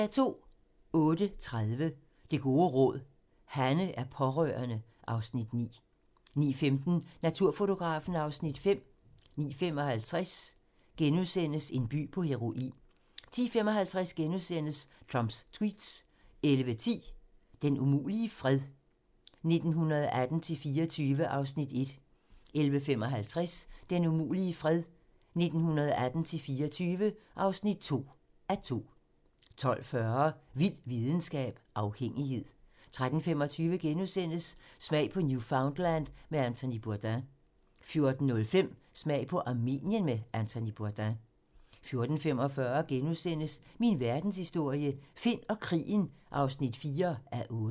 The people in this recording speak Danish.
08:30: Det gode råd: Hanne er pårørende (Afs. 9) 09:15: Naturfotografen (Afs. 5) 09:55: En by på heroin * 10:55: Trumps tweets * 11:10: Den umulige fred - 1918-24 (1:2) 11:55: Den umulige fred - 1918-24 (2:2) 12:40: Vild videnskab: Afhængighed 13:25: Smag på Newfoundland med Anthony Bourdain * 14:05: Smag på Armenien med Anthony Bourdain 14:45: Min verdenshistorie - Finn og krigen (4:8)*